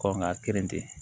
Kɔnga kirin ten